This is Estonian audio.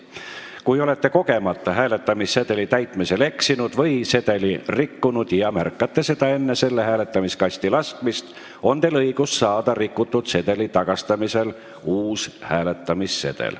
Kui olete kogemata hääletamissedeli täitmisel eksinud või sedeli rikkunud ja märkate seda enne selle hääletamiskasti laskmist, on teil õigus saada rikutud sedeli tagastamisel uus hääletamissedel.